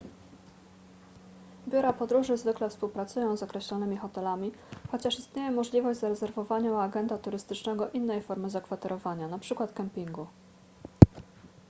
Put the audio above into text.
biura podróży zwykle współpracują z określonymi hotelami chociaż istnieje możliwość zarezerwowania u agenta turystycznego innej formy zakwaterowania np kempingu